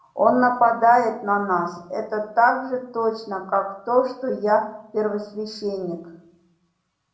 он нападёт на нас это так же точно как то что я первосвященник